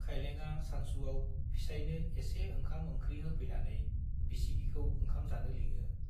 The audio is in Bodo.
खाइलेंआ सानसुआव फिसाइनो एसे ओंखाम-ओंख्रि होफैनानै बिसिगिखौ ओंखाम जानो लिङो।